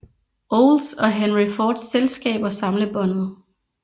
Olds og Henry Fords selskaber samlebåndet